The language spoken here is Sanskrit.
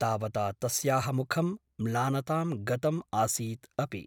तावता तस्याः मुखं म्लानतां गतम् आसीत् अपि ।